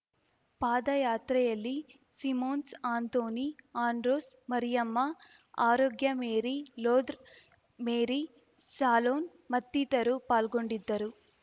ಪಾದಯಾತ್ರೆಯಲ್ಲಿ Simons Anthony Andros Mariyamma Arogya Mary ಲೋದ್ರ್ Mary ಸಾಲೋನ್‌ ಮತ್ತಿತರು ಪಾಲ್ಗೊಂಡಿದ್ದರು